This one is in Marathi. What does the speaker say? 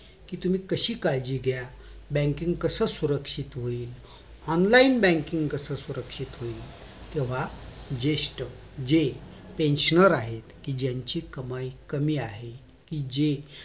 कि तुम्ही कशी काळजी घ्या banking कसं सुरक्षित होईल online banking कस सुरक्षत होईल तेव्हा जेष्ठ जे pensioner आहेत कि ज्यांची कमाई कमी आहे कि जे